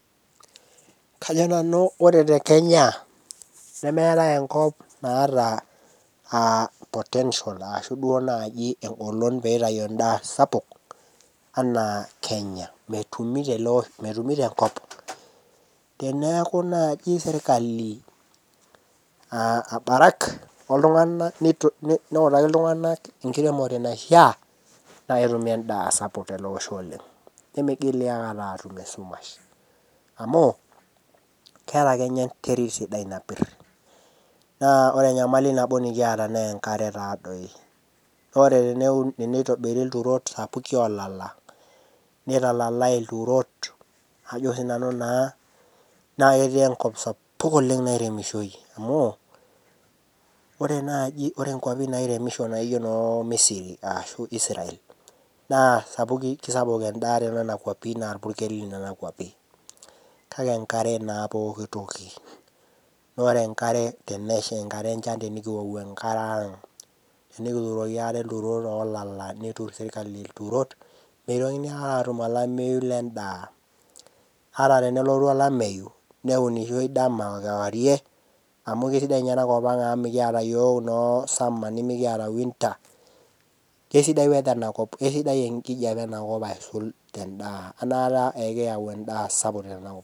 Kajo nanu ore te kenya nemeetae enkop naata uh potential ashu duo naaji engolon pitayu endaa sapuk anaa kenya metumi tele osho metumi tenkop teneeku naaji sirkali uh abarak oltung'anak nito neutaki iltung'anak enkiremore naishia naa ketumi sapuk tele osho oleng nimigili akata aatum esumash amu keeta kenya enterit sidai napirr naa ore enyamali nabo nikiata nenkare taadoi nore teneu teneitobiri ilturot sapuki olala neitalalae ilturot ajo sinanu naa, naa ketii enkop sapuk oleng nairemishoi amu ore naaji ore inkuapi nairemisho naijio inoo misiri ashu Israel naa sapuki kisapuk endaa tenena kuapi naa irpurkeli nana kuapi kake enkare naa pokitoki nore enkare tenesha enkata enchan tenikiwou enkare ang tenikituroki ate ilturot olala neturr sirkali ilturot meitokini aikata atum olameyu lendaa naata tenelotu olameyu neunishoi dama okewarie amu keisidai ninye enakop ang amu mikiata iyiok inoo summer nimiakiata winter keisidai weather enakop kesidai enkijape enakop aisul tendaa enaata ekiyau endaa sapuk tenakop.